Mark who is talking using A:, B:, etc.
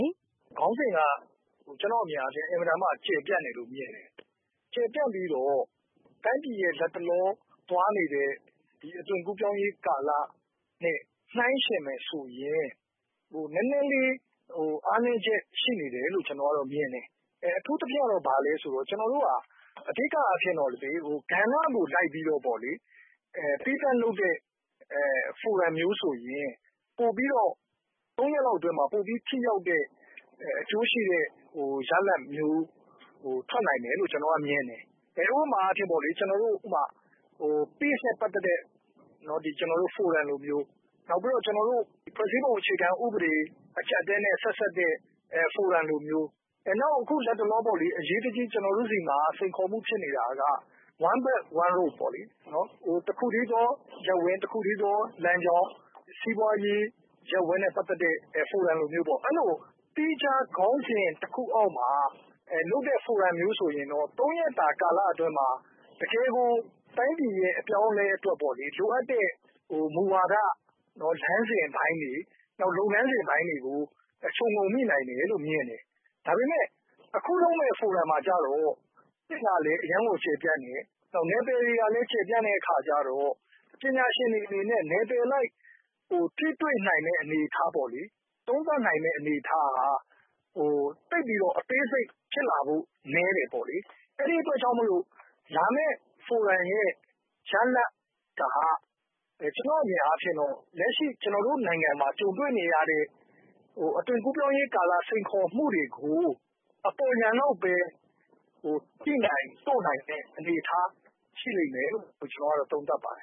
A: ယ်။” “ခေါင်းစဉ်က ကျနော့်အမြင်အားဖြင့် အင်မတန်မှ ကျယ်ပြန့်တယ်လို့ မြင်ပါတယ်။ ကျယ်ပြန့်ပြီးတော့ တိုင်းပြည်ရဲ့ လက်တလောသွားနေတဲ့ အသွင်ကူးပြောင်းရေးကာလနဲ့ နှိုင်းယှဉ်မယ်ဆိုရင် နည်နည်းလေးအားနည်းချက်ရှိနေတယ်လို့ ကျနော်တို့မြင်တယ်။ အထူးသဖြင့်ကတော့ ဘာလဲဆိုတော့ အဓိကအားဖြင့်တော့ ကဏ္ဍကိုလိုက်ပြီးတော့ သီးသန့်လုပ်တဲ့ ဖိုရမ်မျိုးဆိုရင် ၃ ရက်လောက်အတွင်းမှာ ပိုပြီးတော့ ထိရောက်တဲ့ အကျိုးရှိတဲ့ ရလဒ်မျိုး ထွက်နိုင်မယ်လို့ ကျနော်ကတော့မြင်တယ်။ ဥပမာအားဖြင့် Peace နဲ့ ပတ်သက်တဲ့ ကျနော်တို့ ဖိုရမ်လိုမျိုး နောက်ပြီးတော့ ဖွဲ့စည်းပုံအခြေခံဥပဒေ အကျပ်အတည်းနဲ့ ဆက်စပ်တဲ့ဖိုရမ်လိုမျိုး နောက်အခုလက်တလောပေါ့လေ အရေးတကြီးကျနော်မှာ စိန်ခေါ်မှုဖြစ်နေတာက One Belt One Road ပေါ့လေ တခုတည်းသော ရပ်ဝန်း၊ တခုတည်းသော လမ်းကြောင်း စီးပွားရေး ရပ်ဝန်းနဲ့ ပတ်သက်တဲ့ ဖိုရမ်လိုမျိုးပေါ့ အဲလိုသီးခြားခေါင်းစဉ် တခုအောက်မှာ လုပ်တဲ့ ဖိုရမ်လိုမျိုးဆိုရင်တော့ ၃ ရက်တာ ကာလအတွင်းမှာ တကယ်ကို တိုင်းပြည်ရဲ့အပြောင်းအလဲအတွက် လိုအပ်တဲ့ မူဝါဒ လမ်းစဉ်ပိုင်းတွေ လုပ်ငန်းစဉ်ပိုင်းတွေကို ခြုံငြုံမိနိုင်တယ်လို့ မြင်တယ်။ ဒါပေမယ့် အခုလုပ်မယ့် ဖိုရမ်မှာကျတော့ ခေါင်းစဉ်က အရမ်းကျယ်ပြန့်တယ်။ နယ်ပယ်တွေကလည်း ကျယ်ပြန့်တဲ့အခါကျတော့ ပညာရှင်တွေအနေနဲ့ နယ်ပယ်အလိုက် ထိတွေ့နိုင်မယ့်အနေအထား၊ သုံးသပ်နိုင်မယ့်အနေအထားက သိပ်ပြီးတော့ အသေးစိတ်ဖြစ်လာဖို့က နည်းတယ်ပေါ့လေ။ အဲဒီအတွက်ကြောင့် လာမယ့် ဖိုရမ်ရဲ့ ရလဒ်က ကျနော့်အမြင်အားဖြင့်တော့ လက်ရှိကျနော်တို့နိုင်ငံမှာ ကြုံတွေ့နေရတဲ့ အသွင်ကူးပြောင်းရေးကာလ စိန်ခေါ်မှုတွေကို အပေါ်ယံလောက်ပဲ ထိနိုင်တို့နိုင်တဲ့အနေအထား ဖြစ်လိမ့်မယ်လို့ ကျနော်သုံးသပ်ပါတယ